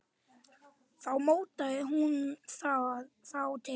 Þá mótaði hún þá til.